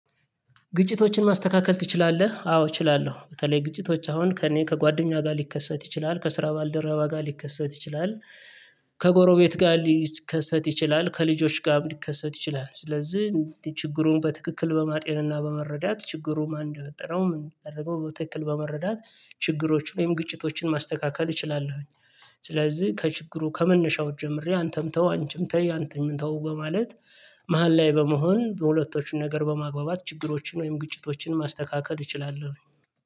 ግጭቶችን ማስተካከል ትችላለህ? አዎ እችላለሁ። በተለይ ግጭቶች አሁን ከእኔ ከጓደኛ ጋር ሊከሰት ይችላል። ከስራ ባልደረባ ጋር ሊከሰት ይችላል። ከጎረቤት ጋር ሊከሰት ይችላል። ከልጆች ጋር ሊከሰት ይችላል። ስለዚህ ችግሩን በትክክል በማጤንና በመረዳት ችግሩ ማን እንደፈጠረው ምን እዳደረገው በትክክል በመረዳት ችግሮችን ወይም ግጭቶችን ማስተካከል እችላለሁኝ። ስለዚህ ከችግሩ ከመነሻው ጀምሬ አንተም ተው አንቺም ተይ አንተም ተው በማለት መሃል ላይ በመሆን በሁለቶቹን ነገር በማግባባት ችግሮችን ወይም ግጭቶችን ማስተካከል እችላለሁኝ።